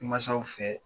Mansaw fɛ